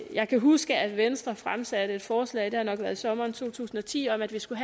jeg kan huske at venstre fremsatte et forslag det har nok været i sommeren to tusind og ti om at der skulle